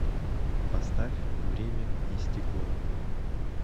поставь время и стекло